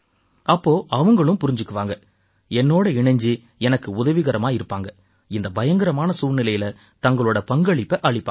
அப்ப அவங்களும் புரிஞ்சுக்குவாங்க என்னோட இணைஞ்சு எனக்கு உதவிகரமா இருப்பாங்க இந்த பயங்கரமான சூழ்நிலையில தங்களோட பங்களிப்பை அளிப்பாங்க